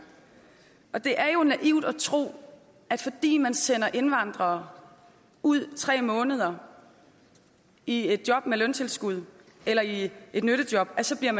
det er jo naivt at tro at fordi man sender indvandrere ud i tre måneder i et job med løntilskud eller i et nyttejob så bliver